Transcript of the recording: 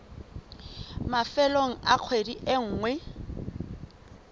mafelong a kgwedi e nngwe